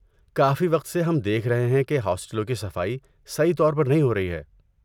کافی وقت سے ہم دیکھ رہے ہیں کہ ہاسٹلوں کی صفائی صحیح طور پر نہیں ہو رہی ہے۔